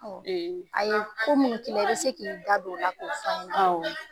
A ye ko min k'i la i bɛ se k'i da d.on o la k'o f'an ye. Awɔ.